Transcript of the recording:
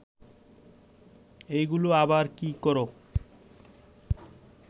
এইগুলা আবার কি কর